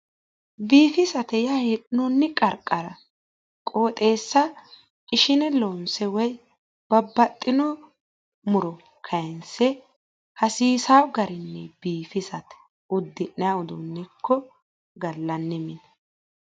Biifisate yaa hee'noinni qarqara qooxeessa ishine loonse woyi babbaxxin muro kaayiinse hasiisanno garinni biigisate. uddi'nayi uduunne ikko gallanni mine.